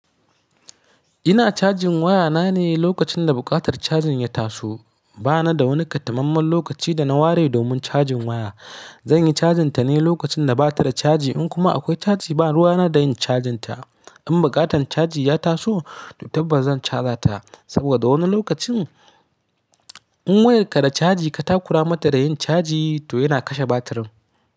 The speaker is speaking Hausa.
Ina cajin wayana ne lokacin da buƙatar cajin ya taso. Ba na da wani katamamaiman lokaci da na ware domin cajin waya. Zanyi cajinta ne lokacin da bata da caji in kuma akwai caji ba ruwa na y da yin cajinta. In buƙatan caji ya taso to tabbas zan caja ta saboda wani lokacin in wayarka da caji ka takura mata da yin caji to yana kashe batirin.